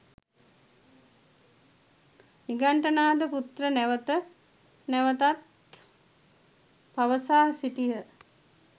නිගණ්ඨනාථ පුත්‍ර නැවත නැවතත් පවසා සිටිය